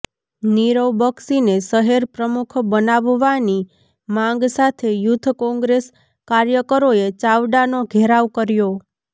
નિરવ બક્ષીને શહેર પ્રમુખ બનાવવાની માંગ સાથે યૂથ કોંગ્રેસ કાર્યકરોએ ચાવડાનો ઘેરાવ કર્યો